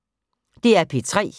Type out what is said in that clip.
DR P3